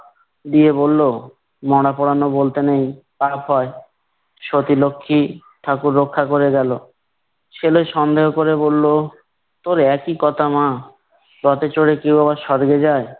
দিয়ে বললো মরা পুরানো বলতে নেই পাপ হয়। সতীলক্ষ্মী ঠাকুর রক্ষা করে গেলো। ছেলে সন্দেহ করে বললো তোর একই কথা মা, রথে চড়ে কেউ আবার স্বর্গে যায়?